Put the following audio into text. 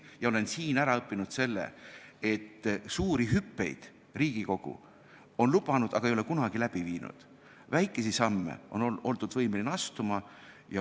Ja siin olles olen ma õppinud seda, et Riigikogu on lubanud suuri hüppeid, aga ei ole neid kunagi läbi viinud, seevastu väikesi samme on oldud võimelised astuma.